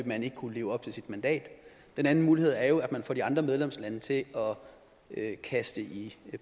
man ikke kunne leve op til sit mandat den anden mulighed er jo at man får de andre medlemslande til at kaste